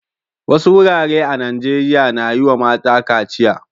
Wasu wurare a Najeriya na yi wa mata kaciya.